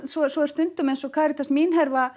svo er svo er stundum eins og Karítas